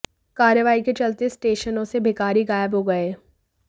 कार्रवाई के चलते स्टेशनों से भिखारी गायब हो गए